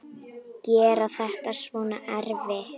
Gera þetta svona erfitt.